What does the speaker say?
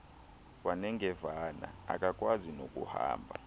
wanengevane akakwazi nokuhamba